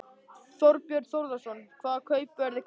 Þorbjörn Þórðarson: Hvaða kaupverð er greitt?